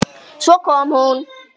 Svo kom hún.